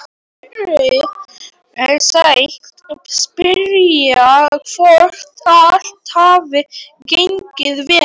Heyrir sig spyrja hvort allt hafi gengið vel.